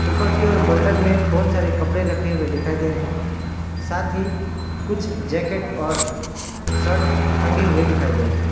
ऊपर की ओर बंडल में बहुत सारे कपड़े रखे हुए दिखाई दे रहे साथ ही कुछ जैकेट और शर्ट टंगे हुए दिखाई दे रहे हैं।